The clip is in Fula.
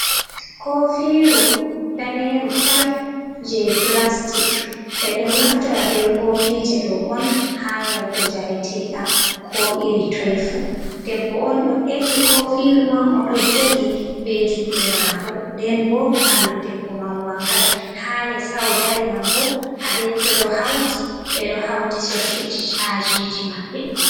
ko firu daneru tal je plastic bedo naftora be kofi je do on ha yarugo jaretedam ko iri toi fu. debbo on do efti ko firu man o do jogi be jude mako nden bo bandu debbo man wangai hale sau dari man bo a detto do hauti be do hauti sokirji cajiji maɓɓe